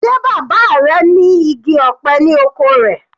Sé bàbá rẹ̀ ní igi ọ̀pẹ ni oko rẹ̀?